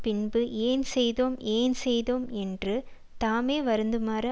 பின்பு ஏன் செய்தோம் ஏன் செய்தோம் என்று தாமே வருந்துமாறு